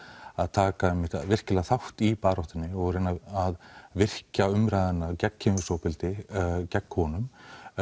taka virkilega þátt í baráttunni og reyna að virkja umræðuna gegn kynferðisofbeldi gegn konum